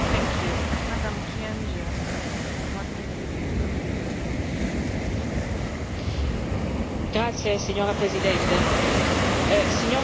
Signora Presidente, onorevoli colleghi, signor Commissario, sono trascorsi esattamente sette mesi dal giorno della pubblicazione dell'Agenda europea sull'immigrazione.